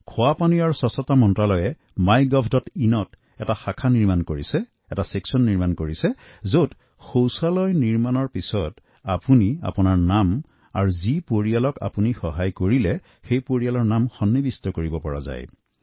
খোৱাপানী আৰু অনাময় মন্ত্ৰালয়ে MyGovইন ত এটা পেজ বনাইছে যত শৌচালয় নিৰ্মাণৰ বাদ আপুনি আপোনাৰ নাম আৰু সেই পৰিয়ালৰ নাম অন্তৰ্ভূক্ত কৰিব পাৰে যাক আপুনি সহায় কৰিছে